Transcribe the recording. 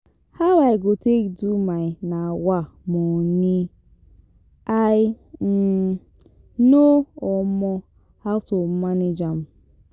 How I go take do my um money? I um know um how to manage am.